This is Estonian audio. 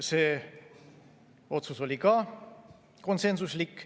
See otsus oli ka konsensuslik.